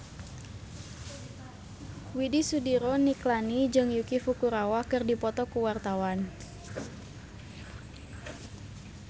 Widy Soediro Nichlany jeung Yuki Furukawa keur dipoto ku wartawan